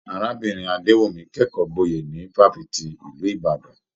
Arábìnrin Adewumi kẹkọọ gboye ni fafiti ìlú Ìbàdàn.